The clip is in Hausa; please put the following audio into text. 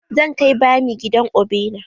Zan kai bami gidan obina.